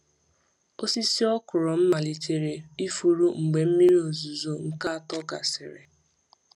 Osisi okra m malitere ifuru mgbe mmiri ozuzo nke atọ gasịrị.